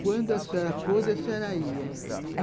Quando a senhora pôde, a senhora ia.